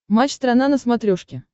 матч страна на смотрешке